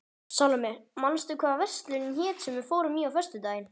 Salóme, manstu hvað verslunin hét sem við fórum í á föstudaginn?